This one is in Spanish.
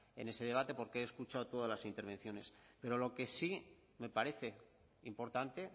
en ese debate porque he escuchado todas las intervenciones pero lo que sí me parece importante